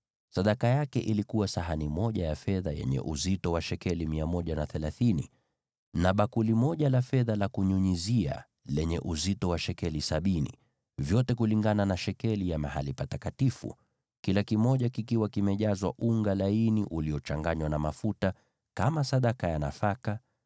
Sadaka aliyoleta ilikuwa sahani moja ya fedha yenye uzito wa shekeli 130, na bakuli moja la fedha la kunyunyizia lenye uzito wa shekeli sabini, vyote kulingana na shekeli ya mahali patakatifu, vikiwa vimejazwa unga laini uliochanganywa na mafuta kama sadaka ya nafaka;